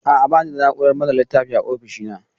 A'a, ba ni da na'urar manne littafi a ofishina.